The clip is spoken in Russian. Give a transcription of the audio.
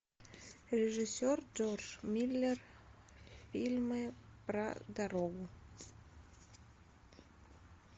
режиссер джордж миллер фильмы про дорогу